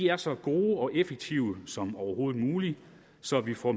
er så god og effektiv som overhovedet muligt så vi får